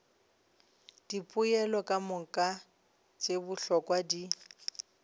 dipoelo kamoka tše bohlokwa di